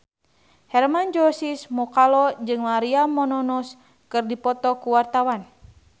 Hermann Josis Mokalu jeung Maria Menounos keur dipoto ku wartawan